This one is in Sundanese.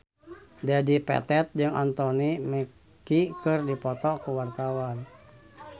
Dedi Petet jeung Anthony Mackie keur dipoto ku wartawan